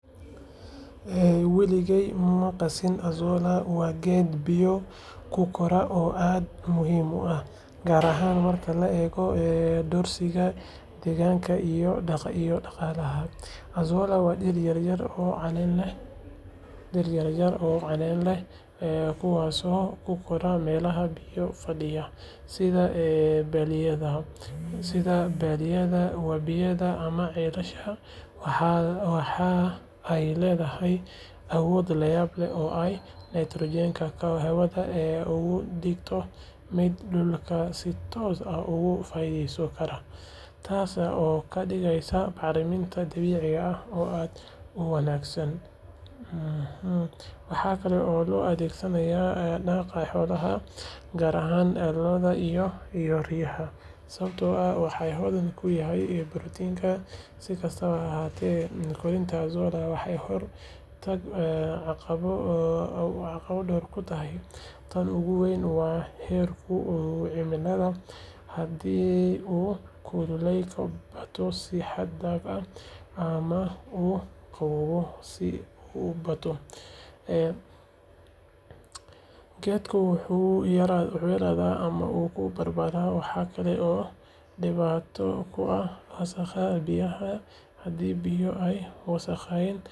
Weligaa ma maqashay Azolla? Waa geed biyo ku kora oo aad muhiim u ah, gaar ahaan marka la eego doorkiisa deegaanka iyo dhaqaalaha. Azolla waa dhir yaryar oo caleen leh, kuwaasoo ku kora meelaha biyo fadhiya sida balliyada, wabiyada ama ceelasha. Waxa ay leedahay awood layaab leh oo ay nitrogen-ka hawada uga dhigi karto mid dhulka si toos ah uga faa’iidaysan kara, taas oo ka dhigaysa bacriminta dabiiciga ah oo aad u wanaagsan. Waxaa kale oo loo adeegsadaa daaqa xoolaha, gaar ahaan lo’da iyo digaagga, sababtoo ah waxay hodan ku tahay borotiin. Si kastaba ha ahaatee, koritaanka Azolla waxaa hor taagan caqabado dhowr ah. Tan ugu weyn waa heerkulka cimilada, haddii uu kuleylka bato si xad dhaaf ah ama uu qabowga aad u bato, geedku wuu yaraadaa ama wuu baaba’aa. Waxaa kale oo dhibaato ku ah wasakhda biyaha, haddii biyo ay wasakhaysan yihiin, Azolla wuu ku kori waayaa. Dhinaca kale, jeermiska iyo cayayaanka qaarkood waxay dhaawacaan caleemaha Azolla, taas oo yareynaysa wax soo saarka. Marka la eego dhamaan faa’iidooyinka iyo caqabadahaas, waxaa muhiim ah in si cilmi ah loo beero Azolla, lana ilaaliyo deegaanka uu ku koro si loo helo faa’iido.